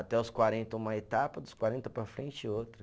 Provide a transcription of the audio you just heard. Até os quarenta, uma etapa, dos quarenta para frente, outra.